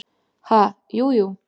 """Ha, jú, jú"""